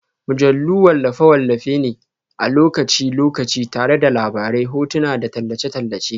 Mujallu wallafe-wallafe ne na lokaci-lokaci tare da labarai, hotuna, da tallace-tallace